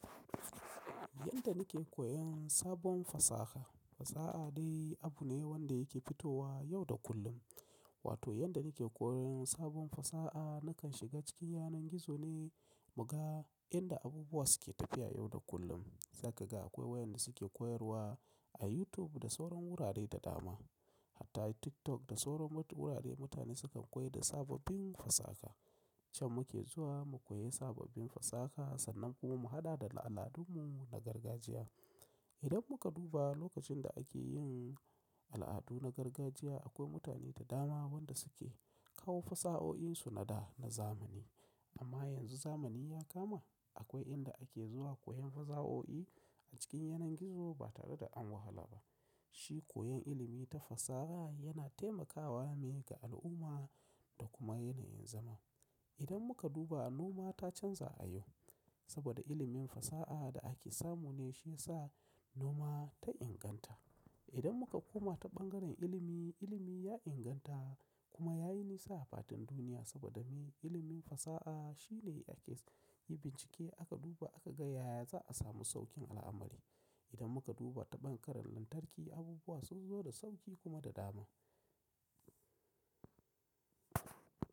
Yadda nike koyan sabon fasaha, fasaha dai abu ne wanda yake fitowa yau da kullum. Wato yadda nike koyan sabon fasaha nakan shiga cikin yanar gizo ne, muga inda abubuwa suke tafiya yau da kullum. Zakaga akwai wayanda suke koyarwa a YouTube da sauran wurare da dama. Hata TikTok da sauran wurare mutane sukan koyar da sababbin fasaha. Can muke zuwa mu koyi sababbin fasaha sannan kuma mu haɗa da na al'adunmu na gargajiya. Idan muka duba lokacin da ake yin al'adu na gargajiya akwai mutane da dama wanda suke kawo fasahohinsu na da na zamani. Amma yanzu zamani ya kama akwai inda ake zuwa koyan fasahohi a cikin yanar gizo ba tare da an wahala ba. Shi koyan ilimi ta fasaha yana taimakawa ne ga al'umma da kuma yanayin zama. Idan muka duba noma ta canza a yau saboda ilimin fasaha da ake samu ne shi yasa noma ta inganta. Idan muka koma ta ɓangaren ilimi, ilimi ya inganta kuma yayi nisa a fatan duniya saboda me? Ilimin fasaha shine ake yi bincike aka duba aka ga yaya za'a samu saukin al'amari. Idan muka duba ta ɓangaren lantarki abubuwa sun zo da sauki kuma da dama.